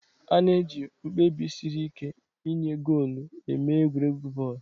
A na-eji mkpebi siri ike ịnye goolu emee egwuregwu bọọlụ.